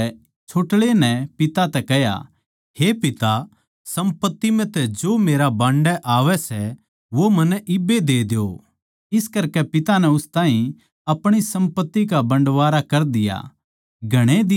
उन म्ह तै छोट्ळै नै पिता तै कह्या हे पिता सम्पत्ति म्ह तै जो मेरा बांडै आवै सै वो मन्नै इब्बे दे द्यो इस करकै पिता नै उन ताहीं अपणी सम्पत्ति का बंडवारा कर दिया